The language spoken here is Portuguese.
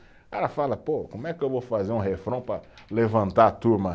Cara fala, pô, como é que eu vou fazer um refrão para levantar a turma?